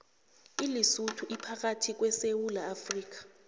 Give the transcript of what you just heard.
ilesotho iphakathi kwe sewula afrika